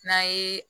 N'a ye